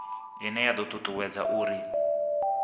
ine ya do tutuwedza uri